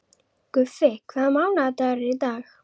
Guffi, hvaða mánaðardagur er í dag?